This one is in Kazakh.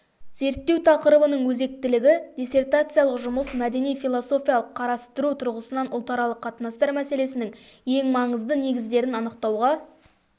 зерттеу тақырыбының өзектілігі диссертациялық жұмыс мәдени-философиялық қарастыру тұрғысынан ұлтаралық қатынастар мәселесінің ең маңызды негіздерін анықтауға